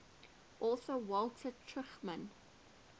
author walter tuchman